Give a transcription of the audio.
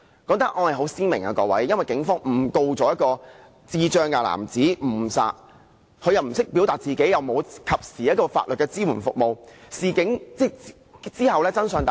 各位，這宗案件很鮮明，因為警方誤告一名智障男子誤殺，由於他不懂得表達自己，又沒有一個及時的法律支援服務，可幸及後真相大白。